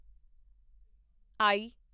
ਆਈ